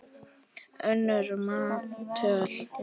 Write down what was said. önnur manntöl